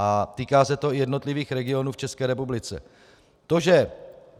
A týká se to i jednotlivých regionů v České republice.